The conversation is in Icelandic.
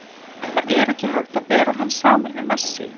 Það er ekki hægt að bera hann saman við Messi.